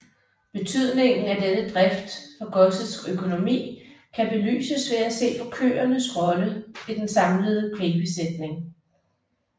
Betydningen af denne drift for godsets økonomi kan belyses ved at se på køernes rolle i den samlede kvægbesætning